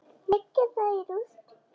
Leggja það í rúst!